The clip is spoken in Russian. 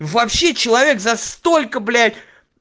вообще человек за столько блять